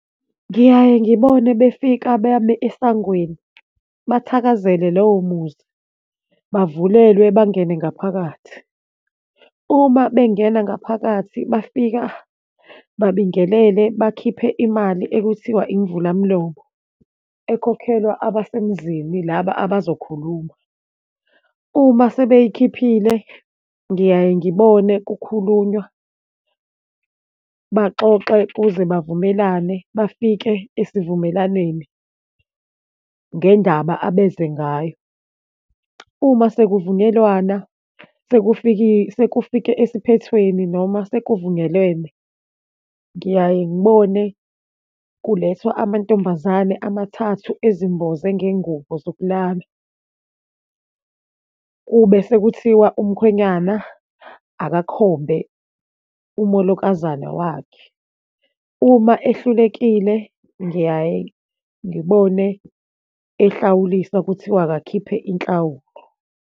Ngiyaye ngibone befika bame esangweni, bathakazele lowo muzi, bavulelwa bangene ngaphakathi. Uma bengena ngaphakathi, bafika babingelele, bakhiphe imali ekuthiwa imvula mlomo, ekhokhelwa abasemzini, laba abazokhuluma. Uma sebeyikhiphile, ngiyaye ngibone kukhulunywa, baxoxe kuze bavumelane, bafike esivumelaneni ngendaba abeze ngayo. Uma sekuvunyelwana, sekufike esiphethweni noma sekuvunyelwene, ngiyaye ngibone kulethwa amantombazane amathathu ezimboze ngengubo zokulala. Kube sekuthiwa umkhwenyana akakhombe umolokazana wakhe. Uma ehlulekile, ngiyaye ngibone ehlawuliswa kuthiwa akakhiphe inhlawulo.